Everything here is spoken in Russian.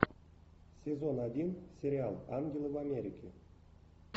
сезон один сериал ангелы в америке